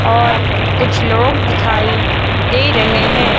और कुछ लोग दिखाई दे रहे हैं।